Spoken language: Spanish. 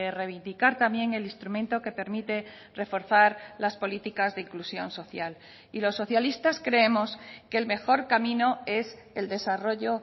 reivindicar también el instrumento que permite reforzar las políticas de inclusión social y los socialistas creemos que el mejor camino es el desarrollo